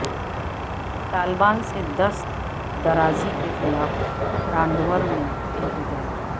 طالبات سے دست درازی کے خلاف تانڈور میں احتجاج